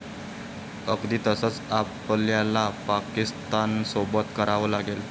अगदी तसंच आपल्याला पाकिस्तानसोबत करावं लागेल.